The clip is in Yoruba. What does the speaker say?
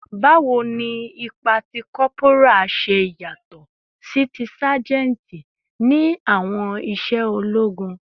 Bawo ni ipa ti corporal ṣe yatọ si ti sajenti ni awọn iṣẹ ologun?